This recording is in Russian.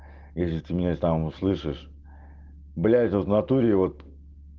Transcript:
если ты меня там услышишь блять вот натуре вот